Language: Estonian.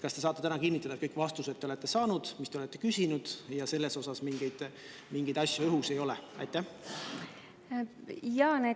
Kas te saate täna kinnitada, et te olete saanud kõik vastused, mida te olete küsinud, ja mingeid õhku jäänud ei ole?